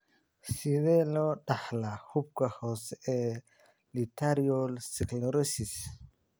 Sidee loo dhaxlaa xuubka hoose ee lateral sclerosis?